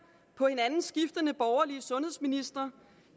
på hinanden skiftende borgerlige sundhedsministre